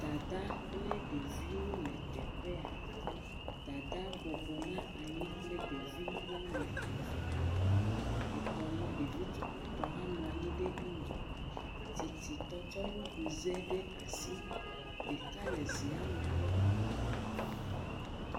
Dadaa kple ɖeviwo le teƒe ya. Dadaa bɔbɔ na anyi kple ɖevi woame eve. Etɔ̃lia, ɖevi tukuitɔ hã nɔ anyi ɖe eŋgɔ. Tititɔ kɔ nuɖuze ɖe asi. Ɖeka le zea me klɔm.